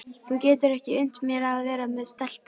Þú getur ekki unnt mér að vera með stelpu.